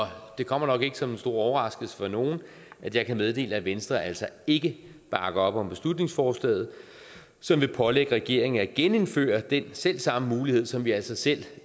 det kommer nok ikke som en stor overraskelse for nogen at jeg kan meddele at venstre altså ikke bakker op om beslutningsforslaget som vil pålægge regeringen at genindføre den selv samme mulighed som vi altså selv